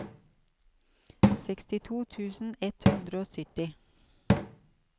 sekstito tusen ett hundre og sytti